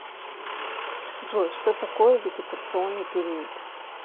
джой что такое вегетационный период